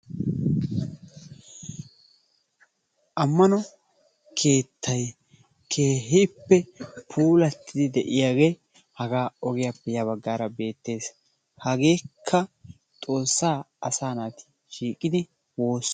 ammano keettay keehippe puullatidi de'iyagee hagaa ogiyappe ya baggaara beettees. hageekka Xoossaa asa naati shiiqidi woosiyoosa.